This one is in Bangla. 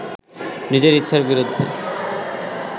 নিজের ইচ্ছার বিরুদ্ধে